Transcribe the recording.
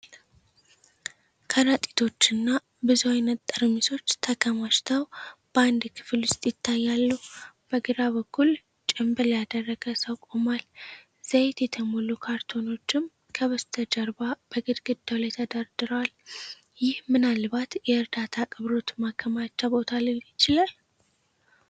ከረጢቶች እና ብዙ ዘይት ጠርሙሶች ተከማችተው በአንድ ክፍል ውስጥ ይታያሉ። በግራ በኩል ጭንብል ያደረገ ሰው ቆሟል፤ ዘይት የተሞሉ ካርቶኖችም ከበስተጀርባ በግድግዳው ላይ ተደርድረዋል። ይህ ምናልባት የእርዳታ አቅርቦት ማከማቻ ቦታ ሊሆን ይችላል።